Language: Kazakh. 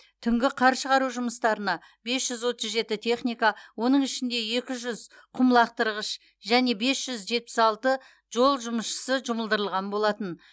түнгі қар шығару жұмыстарына бес жүз отыз жеті техника оның ішінде екі жүз құмлақтырғыш және бес жүз жетпіс алты жол жұмысшысы жұмылдырылған болатын